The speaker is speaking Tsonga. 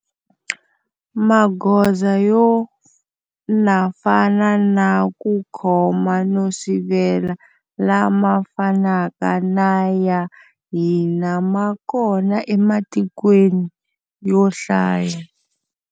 Magoza yo na fana na ku khoma no sivela lama fanaka na ya hina ma kona ematikweni yo hlaya.